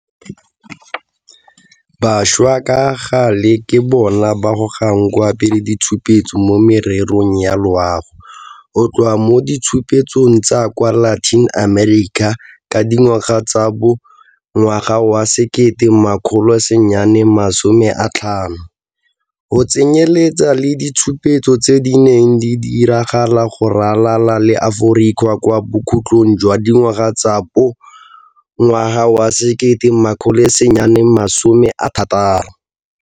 Bašwa ka gale ke bona ba gogang kwa pele ditshupetso mo mererong ya loago, go tloga mo ditshupetsong tsa kwa Latin America ka dingwaga tsa bo 1950, go tsenyeletsa le ditshupetso tse di neng di diragala go ralala le Aforika kwa bokhutlhong jwa dingwaga tsa bo 1960.